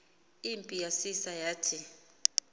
impi yasisa yathi